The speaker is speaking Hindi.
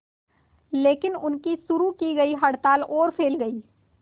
लेकिन उनकी शुरू की गई हड़ताल और फैल गई